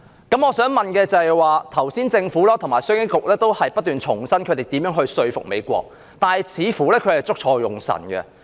剛才政府和商經局局長不斷重申他們如何說服美國，但他們似乎捉錯用神。